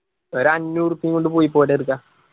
ഒര് അഞ്ഞൂറ് ഉറുപ്യ കൊണ്ട് പൊയ്‌ക്കോട ചെർക്ക